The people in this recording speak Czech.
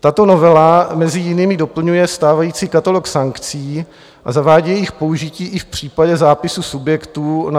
Tato novela mezi jinými doplňuje stávající katalog sankcí a zavádí jejich použití i v případě zápisu subjektů